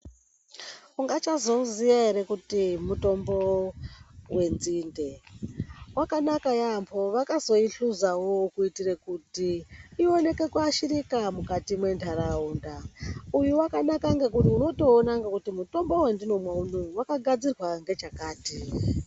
Ungachazouziya ere kuti mutombo wenzinde. Wakanaka yaamho. Vakazoihluzawo kuitire kuti ioneke kuashirika mukati mwentaraunda. Uyu wakanaka ngekuti unotoona ngekuti mutombo wandinomwa unowu wakagadzirwa ngechakati.